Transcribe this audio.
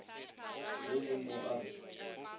le le mo a re